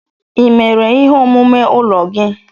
Ị mere ihe omume ụlọ gị?